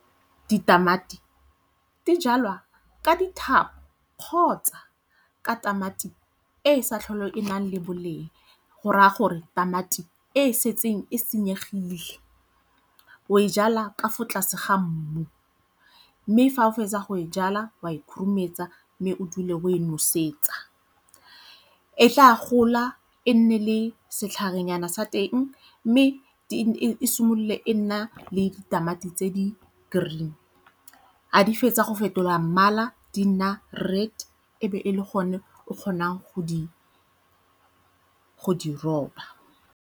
Ditamati di jalwa ka dithapo kgotsa ka tamati e e sa tlhole e nang le boleng go raya gore tamati e e setseng e senyegile. O e jala ka fo tlase ga mmu mme fa o fetsa go e jala wa e khurumetsa mme o dule o e nosetsa. E tla gola e nne le setlhare nyana sa teng mme e simolole e nna le ditamati tse di -green, ga di fetsa go fetola mmala di na red e be e le gone o kgonang go di roba.